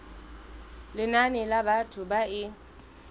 lenane la batho ba e